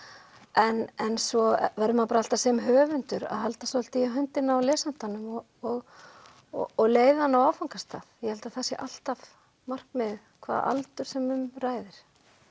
en svo verður maður alltaf sem höfundur að halda svolítið í höndina á lesandanum og og leiða hann á áfangastað ég held að það sé alltaf markmiðið hvaða aldur sem um ræðir